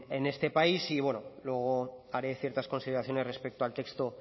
en este país y bueno luego haré ciertas consideraciones respecto al texto